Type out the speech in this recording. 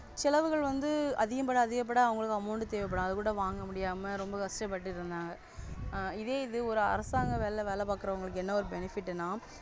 செலவுகள் வந்து அதிகபட அதிகபட அவங்களும் amount தேவைப்படாது கூட வாங்க முடியாமல் ரொம்ப கஷ்டப்பட்டிருந்தாங்க. இதே இது ஒரு அரசாங்க வேலை பாக்குறவங்களுக்கு என்ன ஒரு Benefit